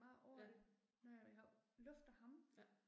Ja. Ja